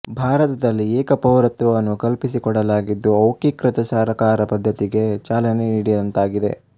ಭಾರತದಲ್ಲಿ ಏಕ ಪೌರತ್ವವನ್ನು ಕಲ್ಪಿಸಿಕೊಡಲಾಗಿದ್ದು ಔಕೀಕೃತ ಸರಕಾರ ಪದ್ಧತಿಗೆ ಚಾಲನೆ ನೀಡಿದಂತಾಗಿದೆ